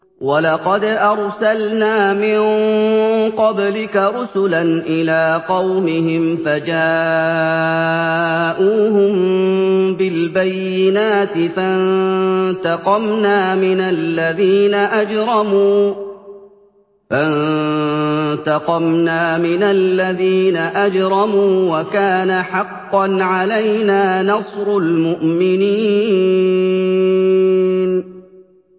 وَلَقَدْ أَرْسَلْنَا مِن قَبْلِكَ رُسُلًا إِلَىٰ قَوْمِهِمْ فَجَاءُوهُم بِالْبَيِّنَاتِ فَانتَقَمْنَا مِنَ الَّذِينَ أَجْرَمُوا ۖ وَكَانَ حَقًّا عَلَيْنَا نَصْرُ الْمُؤْمِنِينَ